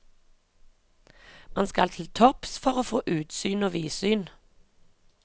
Man skal til topps for å få utsyn og vidsyn.